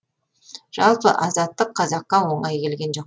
жалпы азаттық қазаққа оңай келген жоқ